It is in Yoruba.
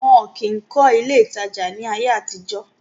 wọn kìí kọ́ ilé ìtajà ní ayé àtijọ́.